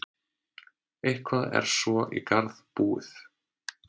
Eitthvað er svo í garð búið